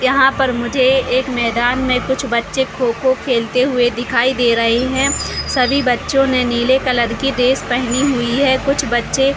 यहाँ पर मुझे एक मैदान में कुछ बच्चे खो-खो खेलते हुए दिखाई दे रहे है सभी बच्चो ने नीले कलर की ड्रेस पहनी हुई है कुछ बच्चे--